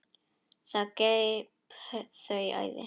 Það greip þau æði.